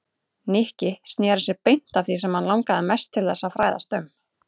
Nikki snéri sér beint að því sem hann langaði mest til þess að fræðast um.